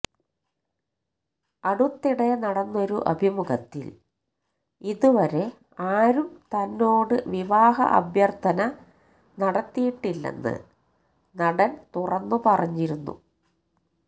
അടുത്തിടെ നടന്നൊരു അഭിമുഖത്തില് ഇതുവരെ ആരും തന്നോട് വിവാഹ അഭ്യര്ത്ഥന നടത്തിയിട്ടില്ലെന്ന് നടന് തുറന്നുപറഞ്ഞിരുന്നു